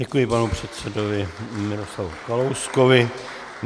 Děkuji panu předsedovi Miroslavu Kalouskovi.